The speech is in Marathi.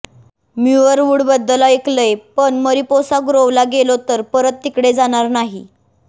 म्युयर वुडबद्दल ऐकलंय पण मरिपोसा ग्रोवला गेलो तर परत तिकडे जाणार नाही